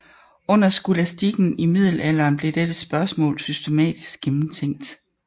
Under skolastikken i middelalderen blev dette spørgsmål systematisk gennemtænkt